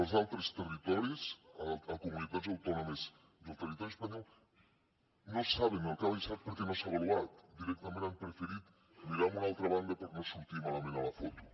els altres territoris a comunitats autònomes del territori espanyol no saben quant ha baixat perquè no s’ha avaluat directament han preferit mirar a una altra banda per no sortir malament a la foto